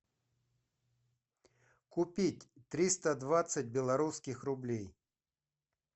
купить триста двадцать белорусских рублей